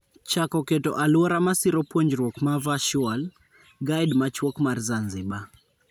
Chako keto aluora masiro puonjruok ma virtual:Guide machuok mar Zanzibar